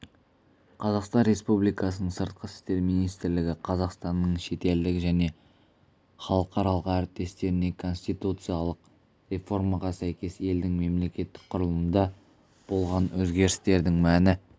қазақстан республикасының сыртқы істер министрлігі қазақстанның шетелдік және халықаралық әріптестеріне конституциялық реформаға сәйкес елдің мемлекеттік құрылымында болған өзгерістердің мәні